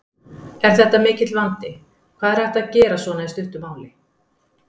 Er þetta mikill vandi, hvað er hægt að gera svona í stuttu máli?